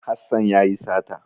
Hassan ya yi sata.